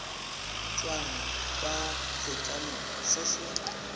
tswang kwa setlamong se se